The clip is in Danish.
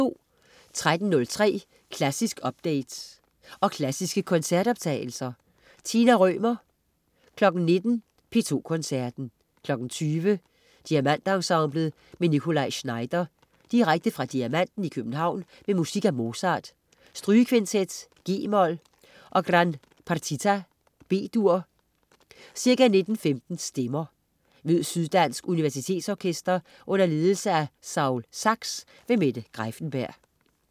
13.03 Klassisk update. Og klassiske koncertoptagelser. Tina Rømer 19.00 P2 Koncerten. 20.00 Diamantensemblet med Nikolaj Znaider. Direkte fra Diamanten i København med musik af Mozart: Strygekvintet, g-mol, og Gran Partita, B-dur. Ca. 19.15 Stemmer. Mød Syddansk Universitetsorkester under ledelse af Saul Zaks. Mette Greiffenberg